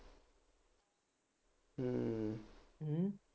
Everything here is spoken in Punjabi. ਹੂੰ